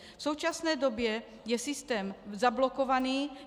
V současné době je systém zablokovaný.